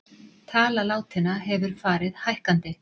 Tala látinna hefur farið hækkandi